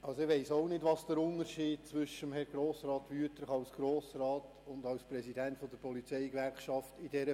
Ich weiss auch nicht, was in dieser Frage der Unterschied zwischen Grossrat Wüthrich als Grossrat und als Präsident der Polizeigewerkschaft ist.